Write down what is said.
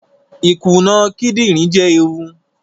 Ikuna kidinrin jẹ eewu